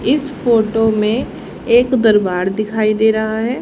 इस फोटो में एक दरबार दिखाई दे रहा है।